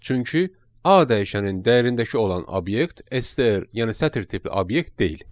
Çünki A dəyişənin dəyərindəki olan obyekt STR, yəni sətr tipli obyekt deyil.